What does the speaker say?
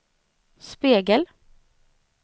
spegel